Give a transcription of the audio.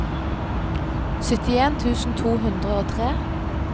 syttien tusen to hundre og tre